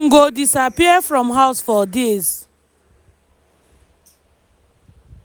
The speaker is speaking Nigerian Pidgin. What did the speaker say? im go disappear from house for days."